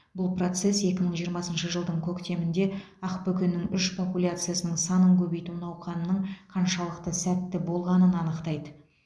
бұл процесс екі мың жиырмасыншы жылдың көктемінде ақбөкеннің үш популяциясының санын көбейту науқанының қаншалықты сәтті болғанын анықтайды